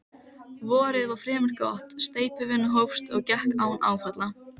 Vorið varð fremur gott, steypuvinnan hófst og gekk án áfalla.